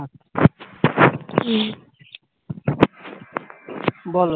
বলো